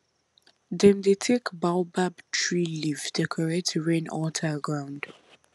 dem dey take baobab tree leaf decorate rain altar ground